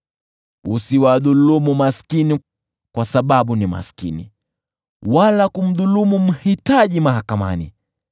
Usiwadhulumu maskini kwa sababu ni maskini, wala kumdhulumu mhitaji mahakamani,